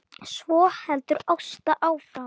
Svo heldur Ásta áfram